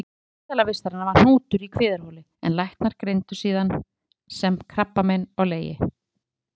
Ástæða spítalavistarinnar var hnútur í kviðarholi sem læknar greindu síðan sem krabbamein á leginu.